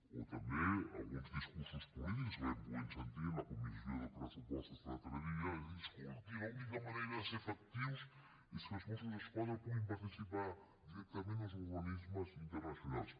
o també alguns discursos polítics que vam poder sentir en la comissió de pressupostos l’altre dia de dir escolti l’única manera de ser efectius és que els mossos d’esquadra puguin participar directament en els organismes internacionals